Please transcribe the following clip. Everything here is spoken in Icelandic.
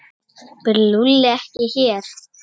Býr Lúlli ekki hér?